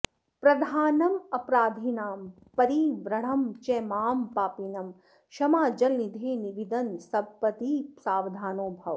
प्रधानमपराधिनां परिवृढं च मां पापिनं क्षमाजलनिधे विदन् सपदि सावधानो भव